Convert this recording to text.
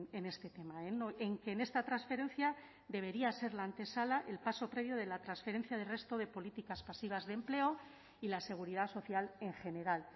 en este tema en que en esta transferencia debería ser la antesala el paso previo de la transferencia del resto de políticas pasivas de empleo y la seguridad social en general